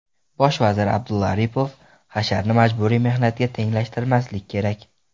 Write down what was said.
Bosh vazir Abdulla Aripov: Hasharni majburiy mehnatga tenglashtirmaslik kerak.